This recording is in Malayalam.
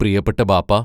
പ്രിയപ്പെട്ട ബാപ്പാ......